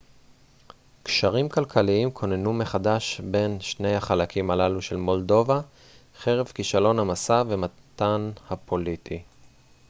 קשרים כלכליים כוננו מחדש בין שני החלקים הללו של מולדובה חרף כישלון המשא ומתן הפוליטי